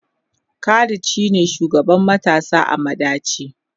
Khalid shine shugaban matasa a madaci.